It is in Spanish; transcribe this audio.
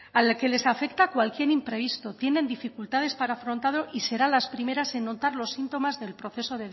al que les afecta cualquier imprevisto tienen dificultades para afrontado y serán las primeras en notar los síntomas del proceso